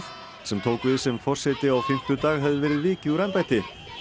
sem tók við sem forseti á fimmtudag hefði verið vikið úr embætti